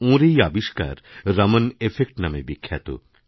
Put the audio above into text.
ওঁর এই আবিষ্কার রমন এফেক্ট নামেবিখ্যাত